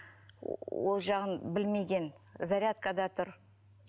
ол жағын білмеген зарядкада тұр